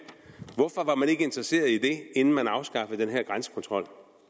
hvorfor var man ikke interesseret i det inden man afskaffede den her grænsekontrol